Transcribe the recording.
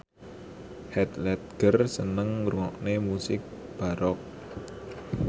Heath Ledger seneng ngrungokne musik baroque